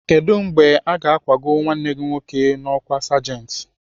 Kedụ mgbe aga akwago nwanne gị nwoke n'ọkwá sergent?